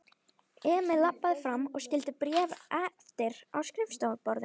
Emil labbaði fram og skyldi bréfið eftir á skrifborðinu.